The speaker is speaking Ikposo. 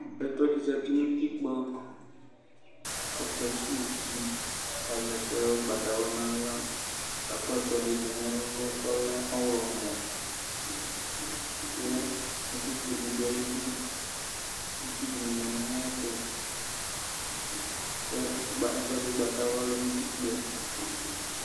Apɛtɔdi zanʋ utikpa kʋ ɔkesʋwʋ uti azɛ ɛkʋ ʋgbatawla nʋ aɣla kʋ akɔ ɛkʋɛdi dʋ nʋ ɛlʋ kʋ ɔya kʋ ɛkʋɛdi dʋ ayidʋ itsu dini manʋ ayɛtʋ kʋ ɛkʋɛdi ʋgbatawla di dʋ utikpa